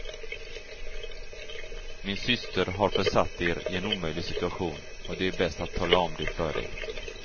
Min syster har försatt er i en omöjlig situation, och det är bäst att tala om det för er.